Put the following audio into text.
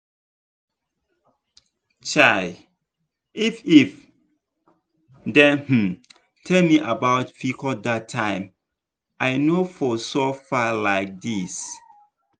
chai! if if dem um tell me about pcos that time i no for suffer like this.